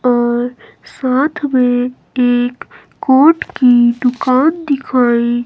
और साथ में एक कोट की दुकान दिखाई--